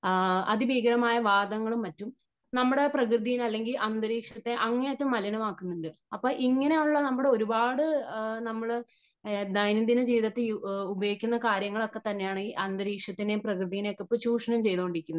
ആ അതിഭീകരമായ വാതങ്ങളും മറ്റും നമ്മുടെ പ്രകൃതി അല്ലെങ്കിൽ അന്തരീക്ഷത്തെ അങ്ങേ അറ്റം മലിനമാക്കുന്നുണ്ട്. അപ്പോ ഇങ്ങനെയുള്ള നമ്മുടെ ഒരുപാട് നമ്മള് ഈ ദൈനം ദിന ജീവിതത്തിൽ ഉപയോഗിക്കുന്ന കാര്യങ്ങൾ ഒക്കെ തന്നെയാണ് അന്തരീക്ഷത്തിനെ പ്രകൃതീനെ ഒക്കെ ഇപ്പം ചൂഷണം ചെയ്തു കൊണ്ടിരിക്കുന്നത് .